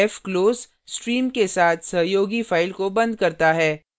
fclose stream के साथ सहयोगी file को बंद करता है